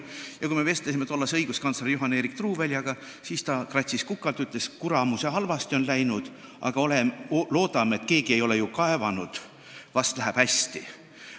Ja kui me vestlesime tollase õiguskantsleri Eerik-Juhan Truuväljaga, siis ta kratsis kukalt ja ütles, et kuramuse halvasti on läinud, aga loodame parimat – keegi ei ole ju kaevanud, ehk läheb hästi.